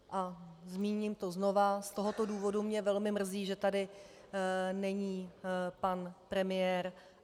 A zmíním to znova - z tohoto důvodu mě velmi mrzí, že tady není pan premiér.